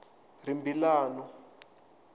rimbilano